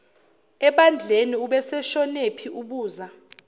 ebandleni ubeseshonephi ubuza